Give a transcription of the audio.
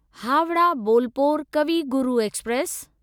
Howrah Bolpur Kavi Guru express